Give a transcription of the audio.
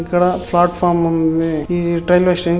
ఇక్కడ ప్లాట్ఫామ్ ఉంది. ఈ రైల్వే స్టేషన్ --